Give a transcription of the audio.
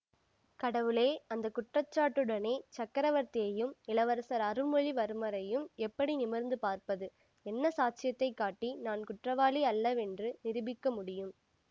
கடவுளே அந்த குற்றச்சாட்டுடனே சக்கரவர்த்தியையும் இளவரசர் அருள்மொழிவர்மரையும் எப்படி நிமிர்ந்து பார்ப்பது என்ன சாட்சியத்தைக் காட்டி நான் குற்றவாளி அல்லவென்று நிரூபிக்க முடியும்